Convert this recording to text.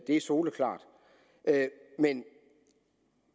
er soleklart men